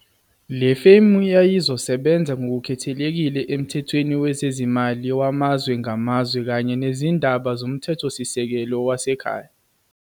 Le femu yayizosebenza ngokukhethekile emthethweni wezezimali wamazwe ngamazwe kanye nezindaba zomthethosisekelo wasekhaya.